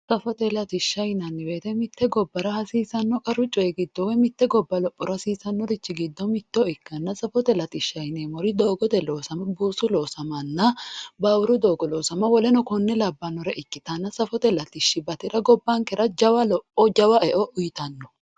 safote latishsha yinanni woyiite mitte gobbara hasiisanno qaru coy giddo mitte gobbara lophote hasiisannorichi giddo mitto ikkanna safote latishsha yineemmohu doogote loosama buusu loosamanna baaburu doogo loosama woleno konne labbannore ikkitano safote latishshi batira gobbankera jawa lopho jawa e"o uyiitanno.